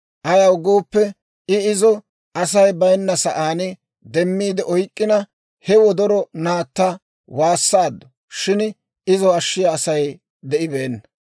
Ayaw gooppe, I izo Asay bayinna sa'aan demmiide oyk'k'ina, he wodoro naatta waassaaddu; shin izo ashshiyaa Asay de'ibeenna.